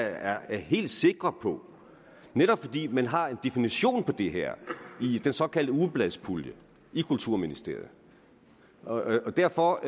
er er helt sikre på det netop fordi man har en definition på det her i den såkaldte ugebladspulje i kulturministeriet og derfor